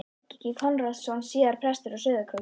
Helgi Konráðsson, síðar prestur á Sauðárkróki.